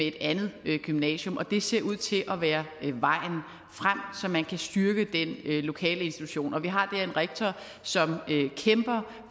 et andet gymnasium og det ser ud til at være vejen frem at man kan styrke den lokale institution og vi har der en rektor som kæmper